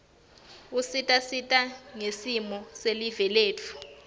usita sati ngesimo silive letfu